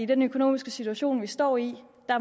den økonomiske situation vi står i